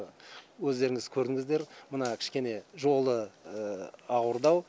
өздеріңіз көрдіңіздер мына кішкене жолы ауырдау